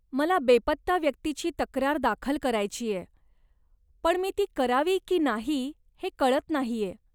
मला बेपत्ता व्यक्तीची तक्रार दाखल करायचीय, पण मी ती करावी की नाही हे कळत नाहीय.